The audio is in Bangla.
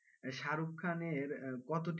এই শাহরুখ খানের কতটি,